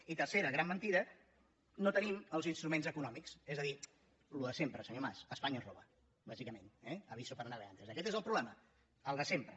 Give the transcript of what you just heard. i tercera gran mentida no tenim els instruments econòmics és a dir el de sempre senyor mas espanya ens roba bàsicament eh aviso para navegantes aquest és el problema el de sempre